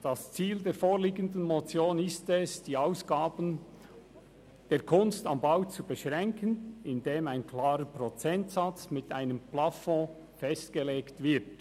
Das Ziel der vorliegenden Motion ist es, die Ausgaben der «Kunst am Bau» zu beschränken, indem ein klarer Prozentsatz mit einem Plafond festgelegt wird.